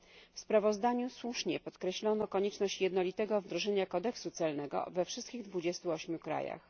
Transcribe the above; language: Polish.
W sprawozdaniu słusznie podkreślono konieczność jednolitego wdrożenia kodeksu celnego we wszystkich 28 krajach.